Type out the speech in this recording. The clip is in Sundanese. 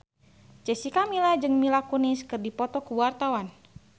Jessica Milla jeung Mila Kunis keur dipoto ku wartawan